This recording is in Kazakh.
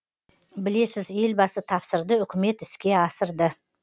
білесіз елбасы тапсырды үкімет іске асырды